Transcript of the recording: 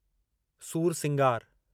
सूरसिंगार